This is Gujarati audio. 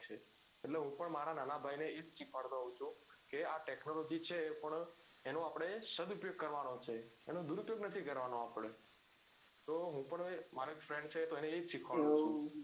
એટલે હું પણ મારા નાના ભાઈ ને એજ સીખવાડતો હોઉં છું કે આ technology છે એ પણ એનો સદ ઉપયોગ કરવાનો છે આપડે એનો દુરઉપયોગ નહિ કરવાનો આપડે તો હું તો એક friend છે તો એને એજ સીખવાડુ છું